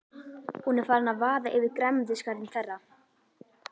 Hún er farin að vaða yfir grænmetisgarðinn þeirra.